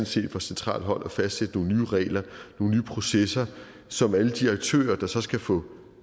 set er fra centralt hold at fastsætte nogle nye regler nogle nye processer som alle de aktører der så skal få